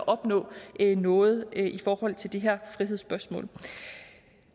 opnå noget i forhold til det her frihedsspørgsmål